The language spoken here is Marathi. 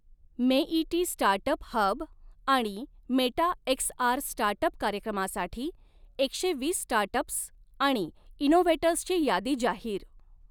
मेइटी स्टार्टअप हब आणि मेटा एक्सआर स्टार्टअप कार्यक्रमासाठी एकशे वीस स्टार्टअप्स आणि इनोव्हेटर्सची यादी जाहीर